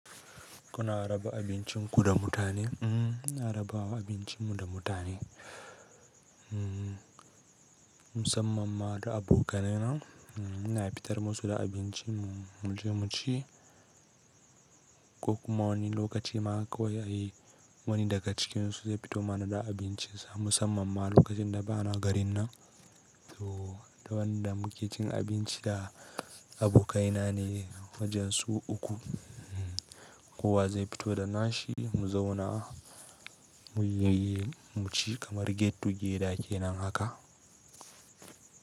Kuna raba abincinku da mutane? Mm, raba wa abincinmu da mutane. Mm, musamman ma da abokaina. Mm, ina fitar musu da abinci mu je mu ci ko kuma wani lokaci ma kawai ai wani daga cikinsu zai fito mana da abinci musamman ma lokacin da bana garin nan. To da wanda muke cin abinci da abokaina ne wajen su uku. Kowa zai fito da nashi mu zauna mu yi yi mu ci kamar get to geda kenan haka.